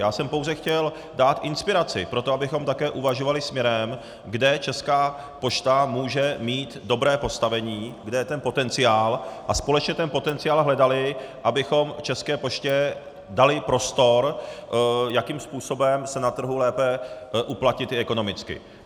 Já jsem pouze chtěl dát inspiraci pro to, abychom také uvažovali směrem, kde Česká pošta může mít dobré postavení, kde je ten potenciál, a společně ten potenciál hledali, abychom České poště dali prostor, jakým způsobem se na trhu lépe uplatnit i ekonomicky.